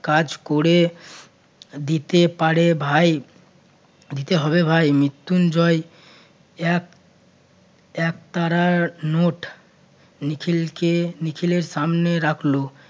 কাজ করে দিতে পারে ভাই দিতে হবে ভাই। মৃত্যুঞ্জয় এক~ একতারা নোট নিখিলকে~ নিখিলের সামনে রাখলো।